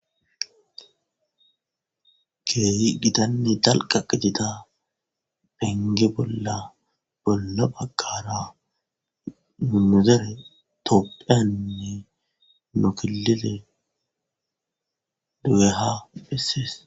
Geeyi gidanne dalqa qitita penge bolla bolla phakara mimuzere toppheyanne nokilele do'eha bessees